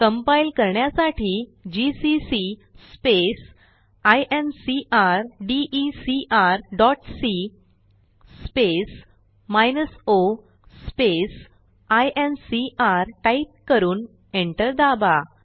compile करण्यासाठी GCC incrdecrसी o INCR type करून एंटर दाबा